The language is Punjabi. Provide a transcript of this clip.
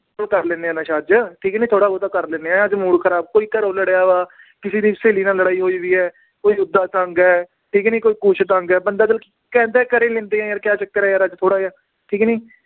ਚਾਲ ਕਰ ਲੈਂਦੇ ਹਾਂ ਨਸ਼ਾ ਅੱਜ ਠੀਕ ਹੈ ਨੀ ਥੋੜ੍ਹਾ ਬਹੁਤਾ ਕਰ ਲੈਂਦੇ ਹਾਂ ਅੱਜ mood ਖ਼ਰਾਬ ਕੋਈ ਘਰੋਂ ਲੜਿਆ ਵਾ ਕਿਸੇ ਦੀ ਸਹੇਲੀ ਨਾਲ ਲੜਾਈ ਹੋਈ ਹੈ ਕੋਈ ਓਦਾਂ ਤੰਗ ਹੈ ਠੀਕ ਹੈ ਨੀ ਕੋਈ ਕੁਛ ਤੰਗ ਹੈ ਬੰਦਾ ਚੱਲ ਕਹਿੰਦਾ ਕਰ ਹੀ ਲੈਂਦੇ ਹਾਂ ਯਾਰ ਕਿਆ ਚੱਕਰ ਹੈ ਯਾਰ ਅੱਜ ਥੋੜ੍ਹਾ ਜਿਹਾ ਠੀਕ ਹੈ ਨੀ